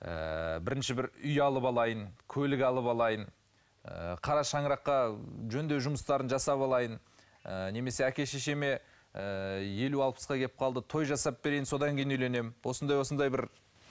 ыыы бірінші бір үй алып алайын көлік алып алайын ы қара шаңыраққа жөндеу жұмыстарын жасап алайын ы немесе әке шешеме ыыы елу алпысқа кеп қалды той жасап берейін содан кейін үйленемін осындай осындай бір